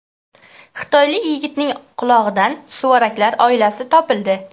Xitoylik yigitning qulog‘idan suvaraklar oilasi topildi.